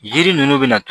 Jiri ninnu bɛna